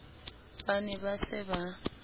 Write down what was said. ba ne ba se ba